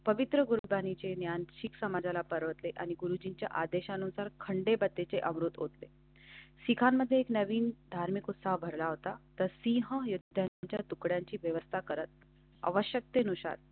चे आणखी एक समाजाला परत आले आणि गुरुजीच्या आदेशानुसार खंडवा तेचे अमृत होते. शिखांमध्ये एक नवीन धार्मिक उत्सव भरला होता तर सीहा येत्या तुकड्याची व्यवस्था करत आवश्यकतेनुसार.